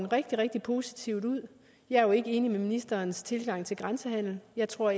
rigtig rigtig positivt ud jeg er jo ikke enig i ministerens tilgang til grænsehandel jeg tror